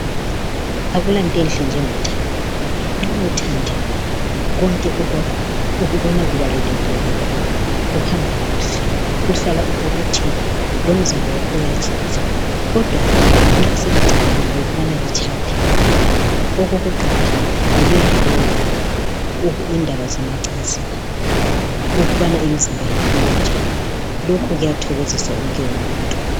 Akulanto enhle njengothando. Nxa uthandiwe konke ukwakho ukubona kubalulekile kakhulu, kuhamba kuhle, uhlala ubobotheka lomzimba wakho uyatshintsha. Kodwa nxa selicabangile ukubana litshade okokuqala yikuyahlolwa indaba zemacansini ukubana imizimba yenu iminjani lokhu kuyathokozisa wonke umuntu.